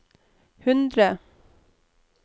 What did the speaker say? hundre